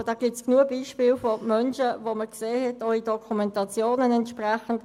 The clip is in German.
Dazu gibt es genug Beispiele von Menschen, die man auch in entsprechenden Dokumentationen sehen konnte.